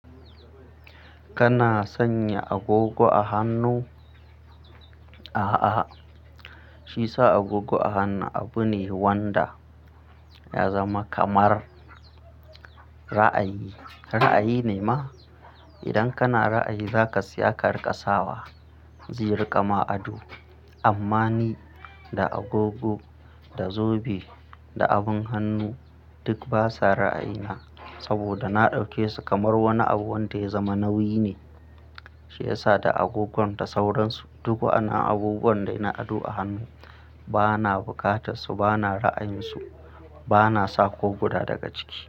Kana sanya agogo a hannu, a, a shi yasa agogo a hannu abu ne wanda ya zama kamar ra'ayi. Ra'ayi ne ma? Idan kana ra'ayi za ka siya ka riƙa sawa, zai riƙa ma ado. Amma ni, da agogo, da zobe, da abun hannu duk basa ra'ayina saboda na ɗauke su kamar wani abu wanda ya zama nauyi ne. Shi ya sa da agogon da sauransu duk wa, annan abu wanda ina ado a hannu bana bukatar su, bana ra'ayin su, bana sa ko guda daga ciki.